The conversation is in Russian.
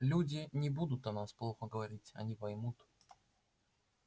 люди не будут о нас плохо говорить они поймут